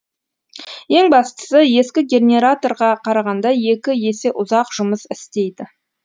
ең бастысы ескі генераторға қарағанда екі есе ұзақ жұмыс істейді